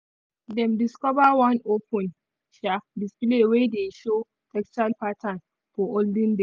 dem discover one open um display wey dey show textile pattern from olden days.